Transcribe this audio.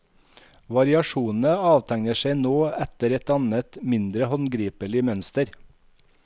Variasjonene avtegner seg nå etter et annet, mindre håndgripelig mønster.